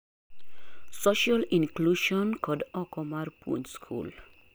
Social inclusion kod oko mar puonj skul